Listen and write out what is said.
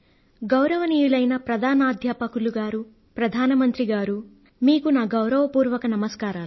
గౌరవనీయులైన ప్రధానాధ్యాపకులు గారూ ప్రధాన మంత్రి గారూ మీకు నా గౌరవపూర్వక నమస్కారాలు